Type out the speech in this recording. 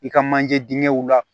I ka manje dingɛw la